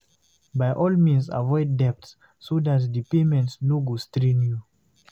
By all means avoid debts so that di payment no go strain you